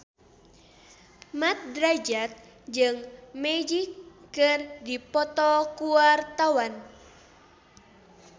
Mat Drajat jeung Magic keur dipoto ku wartawan